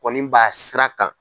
Kɔni b'a sira kan.